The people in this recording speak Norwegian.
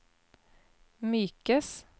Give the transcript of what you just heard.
mykes